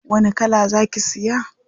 Wani kala za ki siya?